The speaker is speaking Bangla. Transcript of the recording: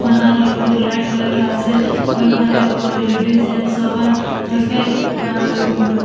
নানারকমের লাইট লাগা আছে ঐখানে ক লেডিস জেন্টস সবাই থাকে আর-বে--